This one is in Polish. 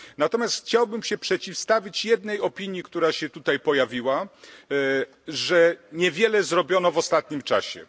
Natomiast chciałbym się przeciwstawić opinii, która się tutaj pojawiła, że niewiele zrobiono w ostatnim czasie.